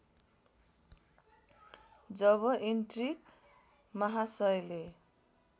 जब ईन्ट्रिक महासयले